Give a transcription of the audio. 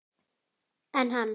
En hann?